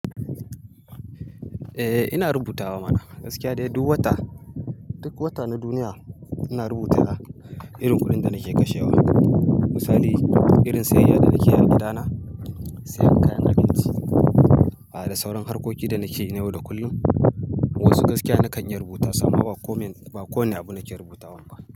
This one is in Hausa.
Eh ina rubutawa ma. Gaskiya dai duk wata, duk wata na duniya ina rubuta irin kuɗin da nake kashewa. Misali irin sayayya da nake yi a gidana, sayan kayan abinci, a da sauran harkoki da nake yi na yau da kullum. Wasu gaskiya na kan iya rubutasu amma ba ko me ba ko wane abu nake rubutawan ba.